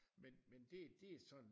Men men det det sådan